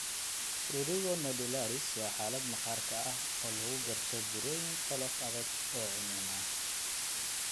Prurigo nodularis waa xaalad maqaarka ah oo lagu garto burooyin qolof adag oo cuncun leh.